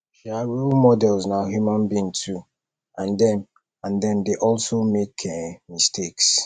um role models na human being too and dem and dem dey also make um mistakes